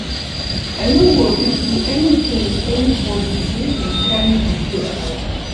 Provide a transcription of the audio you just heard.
I no go fit do anything with anybody wey dey carry juju around